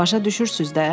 Başa düşürsüz də?